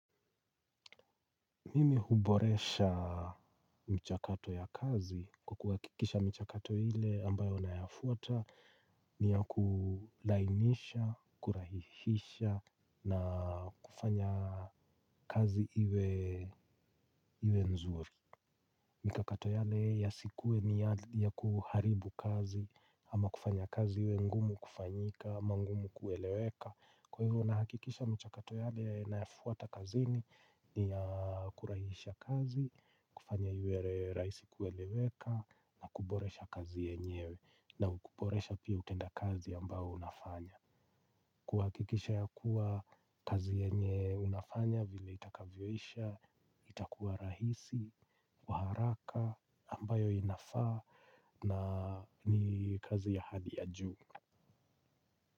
Mimi huboresha michakato ya kazi kwa kuhakikisha michakato ile ambayo nayafuata ni ya kulainisha kurahisisha na kufanya kazi iwe mzuri. Mikakato yale yasikuwe ni ya kuharibu kazi ama kufanya kazi iwe ngumu kufanyika, ama ngumu kueleweka. Kwa hivyo nahakikisha michakato yale nayafuata kazini ni ya kurahisisha kazi, kufanya iwe rahisi kueleweka na kuboresha kazi yenyewe na kuboresha pia utendakazi ambao unafanya. Kuhakikisha ya kuwa kazi yenye unafanya vile itakavyoisha, itakuwa rahisi, wa haraka ambayo inafaa na ni kazi ya hali ya juu.